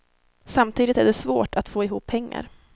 Samtidigt är det svårt att få ihop pengar.